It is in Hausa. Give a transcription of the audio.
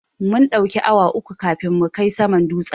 Mun ɗauki awa uku kafin mu kai saman dutsen.